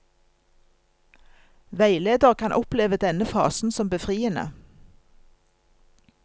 Veileder kan oppleve denne fasen som befriende.